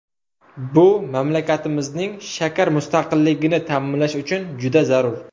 Bu mamlakatimizning shakar mustaqilligini ta’minlash uchun juda zarur.